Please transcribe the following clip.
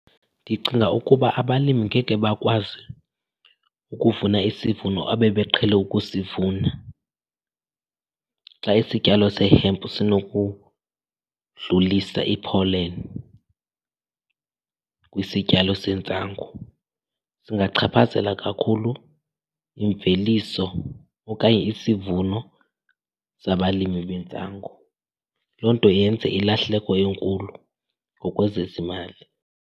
Ndicinga ukuba abalimi ngeke bakwazi ukuvuna isivuno abebeqhele ukusivuna xa isityalo sehempu sinokudlulisa ipholeni kwisityalo sentsangu. Zingachaphazela kakhulu imveliso okanye isivuno zabalimi bentsangu, loo nto yenze ilahleko enkulu ngokwezezimali.